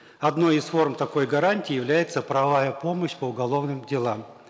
одной из форм такой гарантии является правовая помощь по уголовным делам